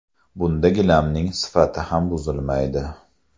Bunda gilamning sifati ham buzilmaydi.